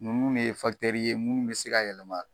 Nunnu de ye ye munnu be se ka yɛlɛma.